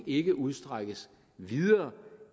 ikke udstrækkes videre